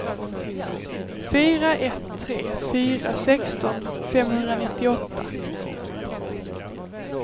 fyra ett tre fyra sexton femhundranittioåtta